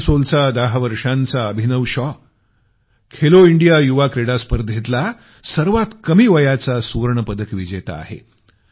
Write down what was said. असनसोलच्या दहा वर्षाचा अभिनव शॉ खेलो इंडिया युवा क्रीडा स्पर्धेतला सर्वात कमी वयाचा सुवर्ण पदक विजेता आहे